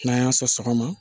N'an y'a sɔn sɔgɔma